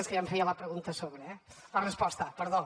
és que ja em feia la pregunta a sobre eh la resposta perdó